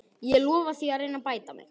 Ég lofa því að reyna að bæta mig.